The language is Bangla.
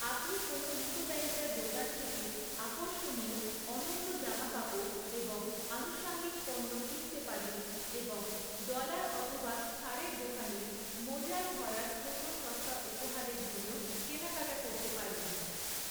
আপনি কোনও মিতব্যয়িতার দোকান থেকে আকর্ষণীয়, অনন্য জামাকাপড় এবং আনুষঙ্গিক পণ্য কিনতে পারেন এবং ডলার অথবা ছাড়ের দোকানে মোজায় ভরার ছোট, সস্তা উপহারের জন্য কেনাকাটা করতে পারেন।